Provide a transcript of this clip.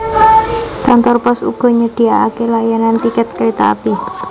Kantor pos uga nyediakaké layanan tiket kereta api